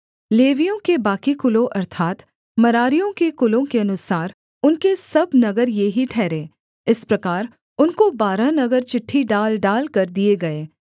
लेवियों के बाकी कुलों अर्थात् मरारियों के कुलों के अनुसार उनके सब नगर ये ही ठहरे इस प्रकार उनको बारह नगर चिट्ठी डाल डालकर दिए गए